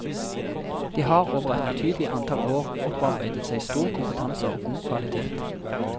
De har over et betydelig antall år opparbeidet seg stor kompetanse og god kvalitet.